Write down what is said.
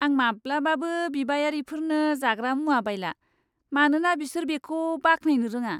आं माब्लाबाबो बिबायारिफोरनो जाग्रा मुवा बायला, मानोना बिसोर बेखौ बाख्नायनो रोङा।